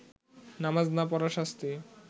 নামাজ না পড়ার শাস্তি